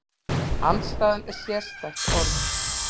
Andstæðan er sérstætt orð.